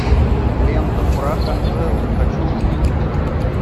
лента прах анжелы хочу увидеть